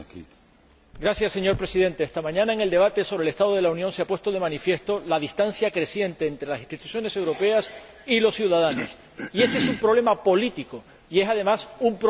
Señor Presidente, esta mañana en el debate sobre el estado de la Unión se ha puesto de manifiesto la distancia creciente entre las instituciones europeas y los ciudadanos, y ese es un problema político, y es además un problema europeo.